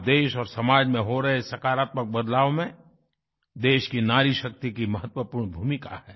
आज देश और समाज में हो रहे सकारात्मक बदलाव में देश की नारीशक्ति की महत्वपूर्ण भूमिका है